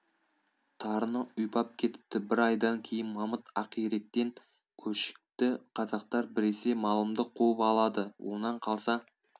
тарыны ұйпап кетіпті бір айдан кейін мамыт ақиректен көшті қазақтар біресе малымды қуып алады онан қалса